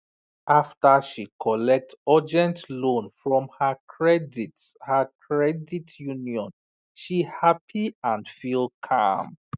after she collect urgent loan from her credit her credit union she happy and feel calm